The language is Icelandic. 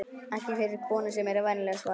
Ekki fyrir konur sem eru venjulegar, svaraði